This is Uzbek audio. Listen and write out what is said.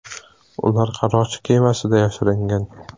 Ular qaroqchi kemasida yashiringan.